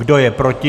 Kdo je proti?